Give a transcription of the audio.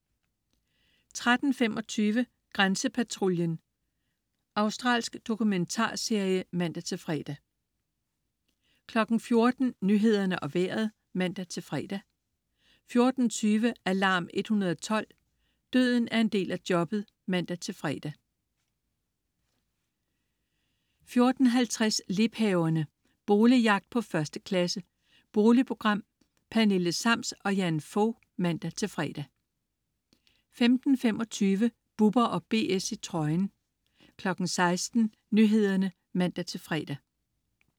13.25 Grænsepatruljen. Australsk dokumentarserie (man-fre) 14.00 Nyhederne og Vejret (man-fre) 14.20 Alarm 112. Døden er en del af jobbet (man-fre) 14.50 Liebhaverne. Boligjagt på 1. klasse. Boligprogram. Pernille Sams og Jan Fog (man-fre) 15.25 Bubber & BS i trøjen 16.00 Nyhederne (man-fre)